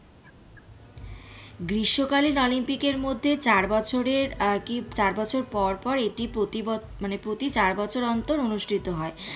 বিশ্ব কালিন অলিম্পিক এর মধ্যে চার বছরের আহ কি চার বছর পর পর এটি প্রতি ব মানে প্রতি চার বছর অন্তর অনুষ্ঠিত হয়।